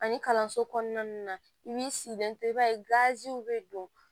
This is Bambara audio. Ani kalanso kɔnɔna i b'i sigilen to i b'a ye gaziw bɛ don